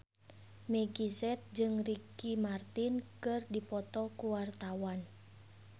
Meggie Z jeung Ricky Martin keur dipoto ku wartawan